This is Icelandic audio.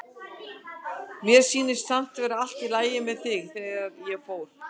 Mér sýndist samt vera allt í lagi með þig þegar ég fór.